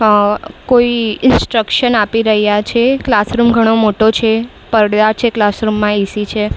અઅ કોઈ ઇન્સ્ટ્રક્શન આપી રહ્યા છે ક્લાસરૂમ ઘણો મોટો છે પડદા છે. ક્લાસરૂમ માં એ_સી છે.